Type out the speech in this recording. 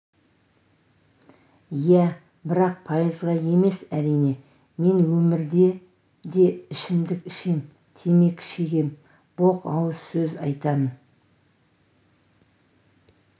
иә бірақ пайызға емес әрине мен өмірде де ішімдік ішем темекі шегемін боқ ауыз сөз айтамын